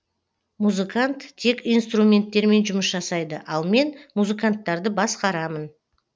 музыкант тек инструменттермен жұмыс жасайды ал мен музыканттарды басқарамын